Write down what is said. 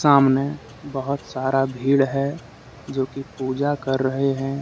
सामने बहुत सारा भीड़ है जो की पूजा कर रहे हैं।